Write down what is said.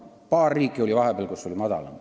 Paar riiki oli vahepeal, kus oli väiksem.